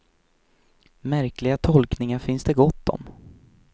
Märkliga tolkningar finns det gott om.